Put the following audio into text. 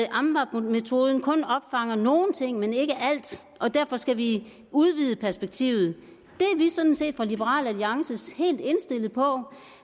amvab metoden kun opfanger nogle ting men ikke alt og derfor skal vi udvide perspektivet det er vi sådan set fra liberal alliances side helt indstillet på